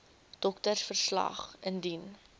doktersverslag wcl indien